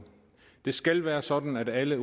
det skal være sådan at alle